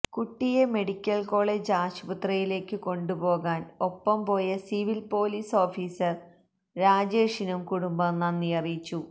കുട്ടിയെ medical college ആശുപത്രിയിലേക്കു കൊണ്ടുപോകാൻ ഒപ്പം പോയ സിവിൽ പൊലീസ് ഓഫിസർ രാജേഷിനും കുടുംബം നന്ദി അറിയിച്ചു